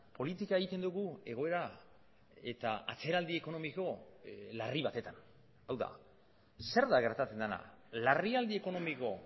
politika egiten dugu egoera eta atzeraldi ekonomiko larri batetan hau da zer da gertatzen dena larrialdi ekonomiko